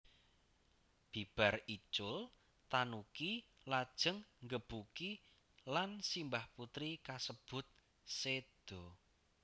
Bibar icul tanuki lajeng nggebuki lan simbah putri kasebut séda